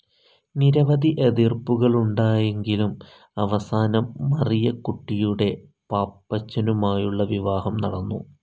നിരവധി എതിർപ്പുകളുണ്ടായെങ്കിലും അവസാനം മറിയക്കുട്ടിയുടെ പാപ്പച്ചനുമായുള്ള വിവാഹം നടന്നു.